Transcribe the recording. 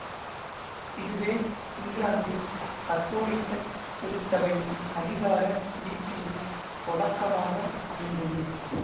இதுவே இங்கிலாந்தில் கத்தோலிக்கத் திருச்சபையின் அதிகார வீழ்ச்சியின் தொடக்கமாக அமைந்தது